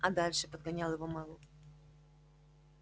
а дальше подгонял его мэллоу